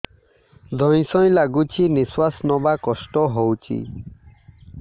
ଧଇଁ ସଇଁ ଲାଗୁଛି ନିଃଶ୍ୱାସ ନବା କଷ୍ଟ ହଉଚି